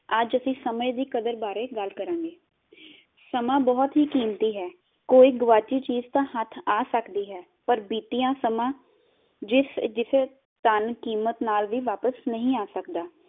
ਅਸੀਂ ਸਮੇਂ ਦੀ ਕਦਰ ਬਾਰੇ ਗੱਲ ਕਰਾਂਗੇ, ਸਮਾਂ ਬਹੁਤ ਹੀ ਕੀਮਤੀ ਹੈ, ਕੋਈ ਗੁਆਚੀ ਚੀਜ ਤਾ ਹੱਥ ਆ ਸਕਦੀ ਹੈ, ਪਰ ਬੀਤੀਆ ਸਮਾਂ ਜਿਸ ਜਿਸੇ ਧੰਨ ਕੀਮਤ ਨਾਲ ਵੀ ਵਾਪਿਸ ਨਹੀਂ ਆ ਸਕਦਾ।